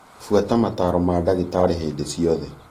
Buata mataro ma ndaagĩtarĩ hĩndĩ ciothe.